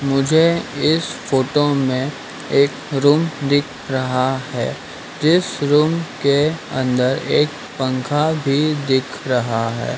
मुझे इस फोटो में एक रूम दिख रहा है जिस रूम के अंदर एक पंखा भी दिख रहा है।